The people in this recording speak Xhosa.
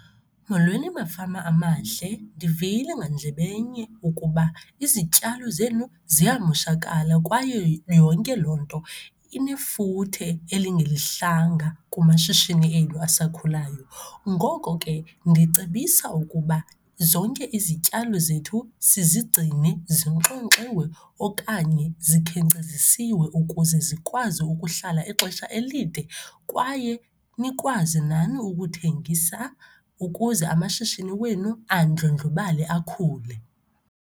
Molweni mafama amahle, ndivile ngandlebenye ukuba izityalo zenu ziyamoshakala kwaye yonke loo nto inefuthe elingelihlanga kumashishini enu asakhulayo. Ngoko ke, ndicebisa ukuba zonke izityalo zethu sizigcine zinxonxiwe okanye zikhenkcezisiwe ukuze zikwazi ukuhlala ixesha elide kwaye nikwazi nani ukuthengisa ukuze amashishini wenu andlondlobale, akhule.